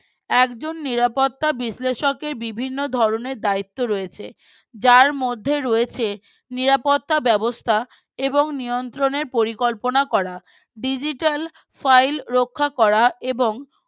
একজন নিরাপত্তা বিশ্লেষকের বিভিন্ন ধরনের দায়িত্ব রয়েছে যার মধ্যে রয়েছে নিরাপত্তা ব্যবস্থা এবং নিয়ন্ত্রণের পরিকল্পনা করা digital file রক্ষা করা এবং